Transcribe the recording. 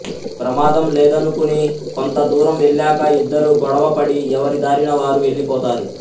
ప్రమాదం లేదనుకుని కొంత దూరం వెళ్ళాక ఇద్దరూ గొడవ పడి ఎవరి దారిన వారు వెళ్ళిపోతారు